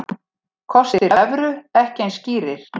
Kostir evru ekki eins skýrir